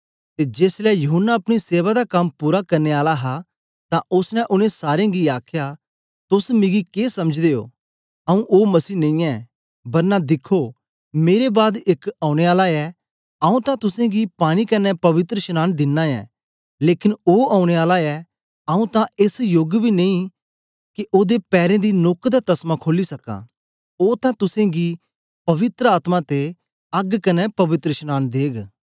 ते जेसलै यूहन्ना अपनी सेवा दा कम पूरा करने आला हा तां ओसने उनै सारे गी आखया तोस मिगी के समझदे ओ आंऊँ ओ मसीह नेई ऐं बरना दिखो मेरे बाद एक औने आला ऐ आंऊँ तां तुसेंगी पानी कन्ने पवित्रशनांन दिना ऐ लेकन ओ औने आला ऐ आंऊँ तां एस योग बी नेई के ओदे पैरें दी नोक्क दा तसमा खोली सकां ओ तां तुसेंगी पवित्र आत्मा ते अग्ग कन्ने पवित्रशनांन देग